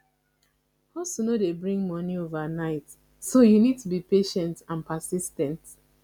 hustle no dey bring monie overnight so you need to be patient and persis ten t